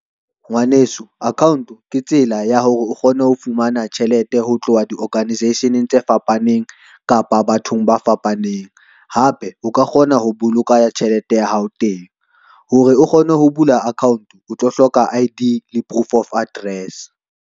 Ngwaneso account ke tsela ya hore o kgone ho fumana tjhelete ho tloha di-organisation-eng tse fapaneng kapa bathong ba fapaneng, hape o ka kgona ho boloka tjhelete ya hao teng. Hore o kgone ho bula account o tlo hloka I_D le proof of address.